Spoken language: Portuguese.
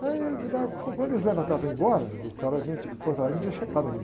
Aí quando estava, quando eles levantaram para ir embora, o cara num tinha, o de Porto Alegre não tinha chegado ainda.